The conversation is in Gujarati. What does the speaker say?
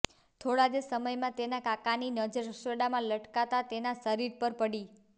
થોડા જ સમયમાં તેના કાકાની નજર રસોડામાં લટકતા તેના શરીર પર પડી